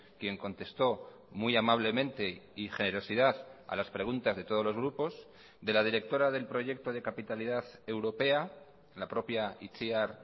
quien contestó muy amablemente y generosidad a las preguntas de todos los grupos de la directora del proyecto de capitalidad europea la propia itziar